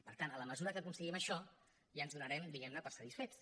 per tant en la mesura que aconseguim això ja ens donarem diguem ne per satisfets